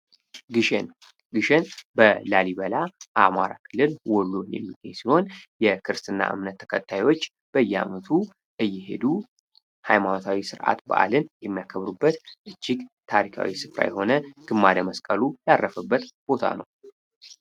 ግሸን ሊሸን በላሊበላ አማራ ክልል ሲሆን የክርስትና እምነት ተከታዮች በየዓመቱ እየሄዱ ሀይማኖታዊ ስርዓት በአለም የሚያከብሩበት እጅግ ታሪካዊ ስፍራ የሆነ ግማደ መስቀሉ ያረፈበት ቦታ ነው።